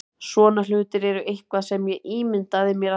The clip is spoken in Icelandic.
Svona hlutir eru eitthvað sem ég ímyndaði mér alltaf.